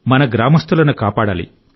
మన గ్రామస్తులను కాపాడాలి